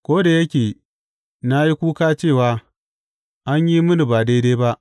Ko da yake na yi kuka cewa, An yi mini ba daidai ba!’